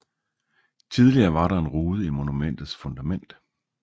Tidligere var der en rude i monumentets fundament